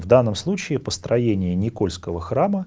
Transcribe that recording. в данном случае построение никольского храма